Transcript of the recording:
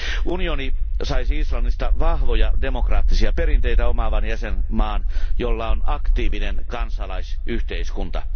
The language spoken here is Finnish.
Unioni saisi Islannista vahvoja demokraattisia perinteitä omaavan jäsenvaltion, jolla on aktiivinen kansalaisyhteiskunta.